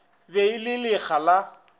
be e le lekga la